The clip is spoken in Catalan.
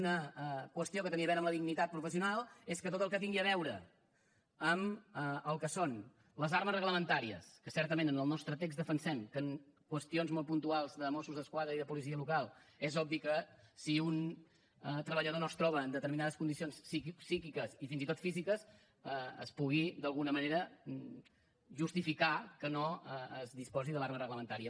una qüestió que tenia a veure amb la dignitat professional és que tot el que tingui a veure amb el que són les armes reglamentàries que certament en el nostre text defensem que en qüestions molt puntuals de mossos d’esquadra i de policia local és obvi que si un treballador no es troba en determinades condicions psíquiques i fins i tot físiques es pugui d’alguna manera justificar que no es disposi de l’arma reglamentària